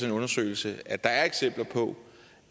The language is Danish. en undersøgelse at der er eksempler på